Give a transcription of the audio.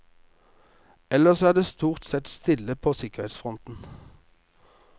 Ellers er det stort sett stille på sikkerhetsfronten.